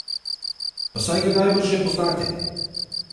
Pa saj ga najbrž že poznate!